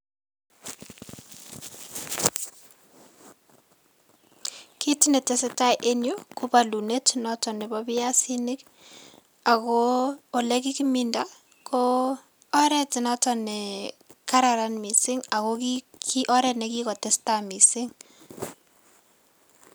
kit netesetai enyu go palunet noto nebo piasinik ago ole kikiminda go oret noto ne kararan missing ne gigotestai mising